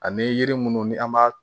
Ani yiri munnu ni an b'a